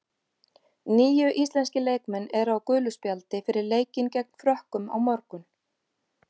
Níu íslenskir leikmenn eru á gulu spjaldi fyrir leikinn gegn Frökkum á morgun.